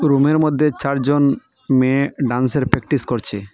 রুমের মধ্যে চারজন মেয়ে ডান্সের প্র্যাকটিস করছে।